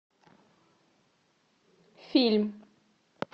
фильм